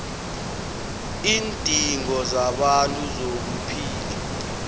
iindingo zabantu zokuphila